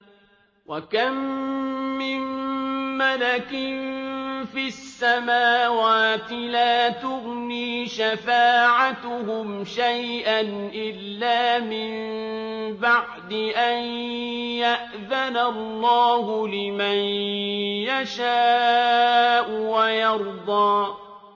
۞ وَكَم مِّن مَّلَكٍ فِي السَّمَاوَاتِ لَا تُغْنِي شَفَاعَتُهُمْ شَيْئًا إِلَّا مِن بَعْدِ أَن يَأْذَنَ اللَّهُ لِمَن يَشَاءُ وَيَرْضَىٰ